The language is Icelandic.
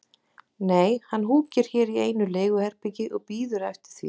Nei, hann húkir hér í einu leiguherbergi og bíður eftir því að